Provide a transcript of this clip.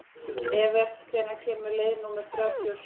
Evert, hvenær kemur leið númer þrjátíu og sjö?